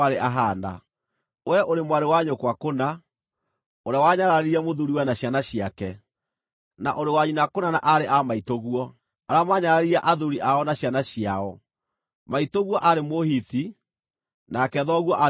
Wee ũrĩ mwarĩ wa nyũkwa kũna, ũrĩa wanyararire mũthuuriwe na ciana ciake; na ũrĩ wa nyina kũna na aarĩ a maitũguo, arĩa maanyararire athuuri ao na ciana ciao. Maitũguo aarĩ Mũhiti, nake thoguo aarĩ Mũamori.